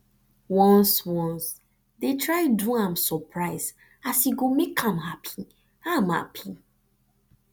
ones ones dey try do am soprise as e go mek am hapi am hapi